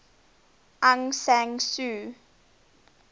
aung san suu